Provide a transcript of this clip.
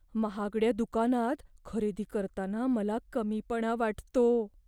महागड्या दुकानात खरेदी करताना मला कमीपणा वाटतो.